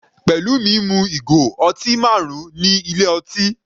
Pelumi mu ìgò ọtí marun ní ilé ọtí.